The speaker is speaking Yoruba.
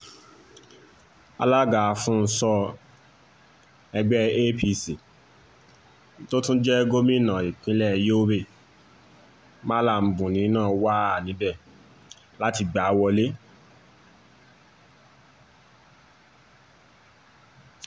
alága afún-ùn-so ẹgbẹ́ apc tó tún jẹ́ gómìnà ìpínlẹ̀ yobe malla buni náà wà níbẹ̀ láti gbá a wọ̀lẹ̀